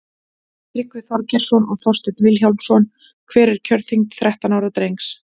tryggvi þorgeirsson og þorsteinn vilhjálmsson hver er kjörþyngd þrettán ára drengs